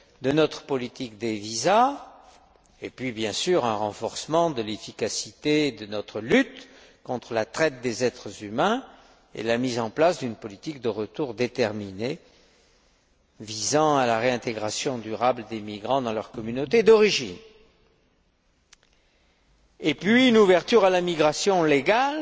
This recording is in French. de notre politique des visas, et puis, bien sûr, un renforcement de l'efficacité de notre lutte contre la traite des êtres humains et la mise en place d'une politique de retour déterminée visant à la réintégration durable des migrants dans leur communauté d'origine, ainsi qu'une ouverture à la migration légale